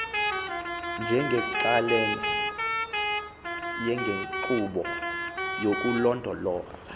njengenxalenye yenkqubo yokulondoloza